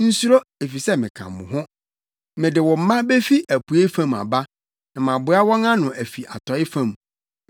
Nsuro, efisɛ meka mo ho; mede wo mma befi apuei fam aba na maboa wɔn ano afi atɔe fam.